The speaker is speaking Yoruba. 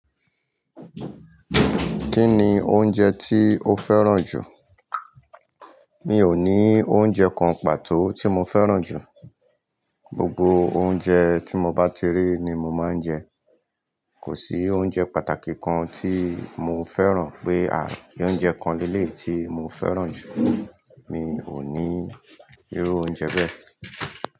Kí ni oúnjẹ tí o fẹ́ràn jù? Mi ò ní oúnjẹ kan pàtó tí mo fẹ́ràn jù. Gbogbo oúnjẹ tí mo bá ti rí ni mo máa ń jẹ. Kò sí oúnjẹ pàtàkì kan tí mo fẹ́ràn pé oúnjẹ kan ní eléyi tí mo fẹ́ràn jù. Mi ò ní irú oúnjẹ bẹ́ẹ̀.